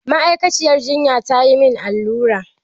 Ma'aikaciyar jinyan tayi min allura.